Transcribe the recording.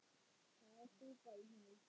Það er súpa í honum.